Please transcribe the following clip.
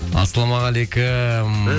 ассалаумағалейкум